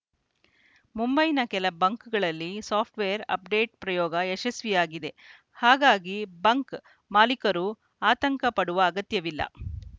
ಮುಂಬೈನ ಕೆಲ ಬಂಕ್‌ಗಳಲ್ಲಿ ಸಾಫ್ಟ್‌ವೇರ್‌ ಅಪ್‌ಡೇಟ್‌ ಪ್ರಯೋಗ ಯಶಸ್ವಿಯಾಗಿದೆ ಹಾಗಾಗಿ ಬಂಕ್‌ ಮಾಲಿಕರು ಆತಂಕ ಪಡುವ ಅಗತ್ಯವಿಲ್ಲ